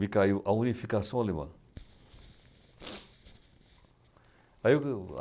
Me caiu a unificação alemã. Aí